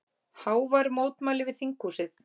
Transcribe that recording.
Hávær mótmæli við þinghúsið